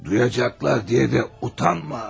Eşidəcəklər deyə də utanma.